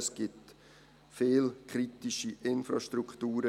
Es gibt in Bern viele kritische Infrastrukturen.